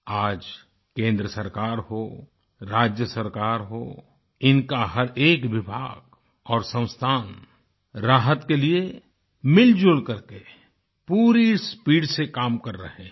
आज केन्द्र सरकार हो राज्य सरकार हो इनका हर एक विभाग और संस्थान राहत के लिए मिलजुल करके पूरी स्पीड से काम कर रहे हैं